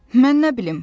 Mən nə bilim?